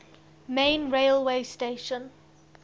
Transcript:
main railway station